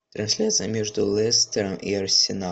трансляция между лестером и арсеналом